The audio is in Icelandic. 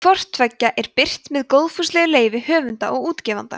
hvort tveggja er birt með góðfúslegu leyfi höfunda og útgefanda